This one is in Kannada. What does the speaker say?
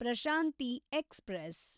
ಪ್ರಶಾಂತಿ ಎಕ್ಸ್‌ಪ್ರೆಸ್